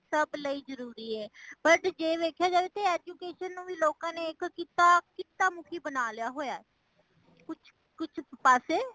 ਸੱਬ ਲਈ ਜਰੂਰੀ ਹੇ ,but ਜੇ ਦੇਖਿਆ ਜਾਏ ਤੇ education ਨੂੰ ਲੋਕ ਨੇ ਕਿੱਤਾ, ਕੀਤਾ ਮੁਖੀ ਬਨਾ ਲਿਆ ਹੋਇਆ ਕੁਛ ਪਾਸੇ।